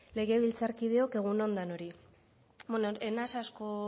legebiltzarkideok egun on danoi bueno ez naiz asko